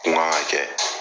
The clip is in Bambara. kun ka kan ka kɛ.